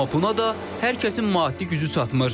Amma buna da hər kəsin maddi gücü çatmır.